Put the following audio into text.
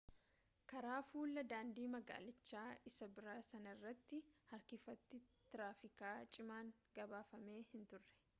karaa fulla'aa daandii magaalichaa isa biraa sanarratti harkifati tiraafikaa cimaan gabaafame hinturre